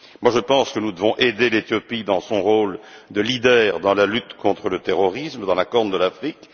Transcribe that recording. Je pense que nous devons aider l'Éthiopie dans son rôle de leader dans la lutte contre le terrorisme dans la Corne de l'Afrique.